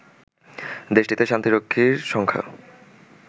দেশটিতে শান্তিরক্ষীর সংখ্যা